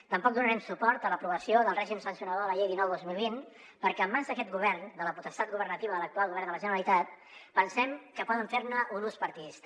tampoc donarem suport a l’aprovació del règim sancionador de la llei dinou dos mil vint perquè en mans d’aquest govern de la potestat governativa de l’actual govern de la generalitat pensem que poden fer ne un ús partidista